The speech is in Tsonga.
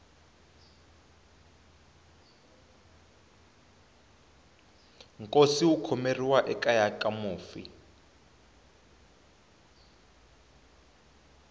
nkosi wu khomeriwa ekeya ka mufi